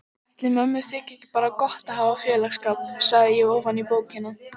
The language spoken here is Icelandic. Ætli mömmu þyki ekki bara gott að hafa félagsskap, sagði ég ofan í bókina.